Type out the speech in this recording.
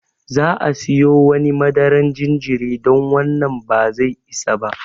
Za'a siyo wani madaran jinjiri don wannan ba zai isa ba.